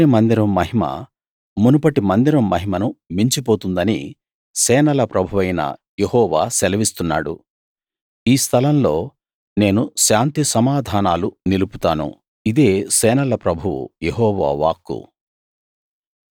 ఈ చివరి మందిరం మహిమ మునుపటి మందిరం మహిమను మించి పోతుందని సేనల ప్రభువైన యెహోవా సెలవిస్తున్నాడు ఈ స్థలంలో నేను శాంతిసమాధానాలు నిలుపుతాను ఇదే సేనల ప్రభువు యెహోవా వాక్కు